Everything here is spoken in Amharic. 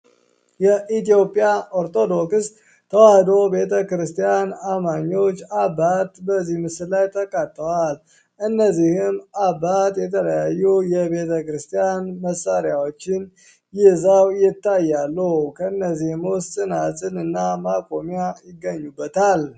የኢትዮጵያ ኦርቶዶክስ ተዋህዶ ቤተ ክርስቲያን አማኘዎች አባት በዚህ ምስል ላይ ተቃተዋል እነዚህም አባት የተለያዩ የቤተ ክርስቲያን መሣሪያዎችን ይዛው ይታያለ ከእነዚህም ውስጥ ጽናጽን እና ማቆሚያ ይገኙበታል።